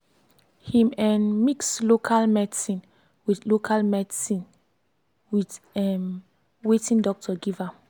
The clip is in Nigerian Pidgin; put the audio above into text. him um mix local medicine with local medicine with um watin doctor give am